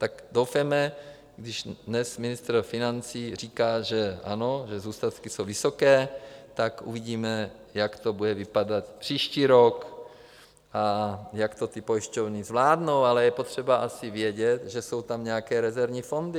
Tak doufejme, když dnes ministr financí říká, že ano, že zůstatky jsou vysoké, tak uvidíme, jak to bude vypadat příští rok a jak to ty pojišťovny zvládnou, ale je potřeba asi vědět, že jsou tam nějaké rezervní fondy.